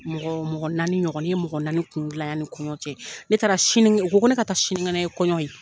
Mɔgɔ mɔgɔ naani ɲɔgɔn, n ye mɔgɔ naani kungolo dillan yanni kɔɲɔ cɛ. Ne taara sini o ko ne ka taa sinikɛnɛ ye kɔɲɔ ye.